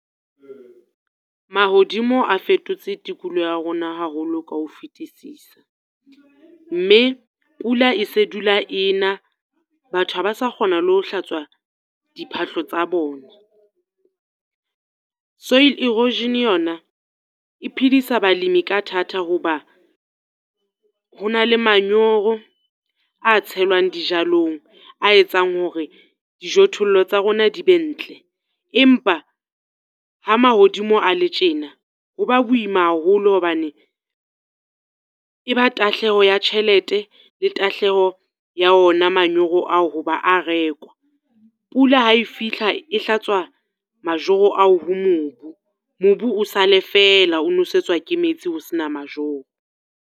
Mahodimo a fetotse tikoloho ya rona haholo ka ho fetisisa, mme pula e se dula ena, batho ha ba sa kgona le ho hlatswa diphahlo tsa bona. Soil erosion yona, e phedisa balemi ka thata ho ba ho na le manyoro a tshelwang dijalong, a etsang hore dijothollo tsa rona di be ntle. Empa ha mahodimo a le tjena, ho ba boima haholo hobane e ba tahleho ya tjhelete le tahleho ya ona manyoro ao ho ba a rekwa. Pula ha e fihla e hlatswa majoro ao ho mobu, mobu o sale fela o nosetswa ke metsi ho sena majoro.